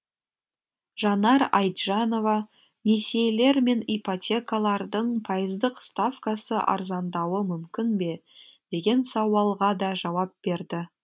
жанар айтжанова несиелер мен ипотекалардың пайыздық ставкасы арзандауы мүмкін бе деген сауалға да жауап берді